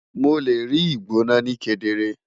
Mo le rii igbona ni kedere